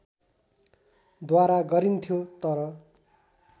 द्वारा गरिन्थ्यो तर